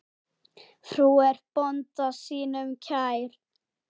Frú er bónda sínum kær.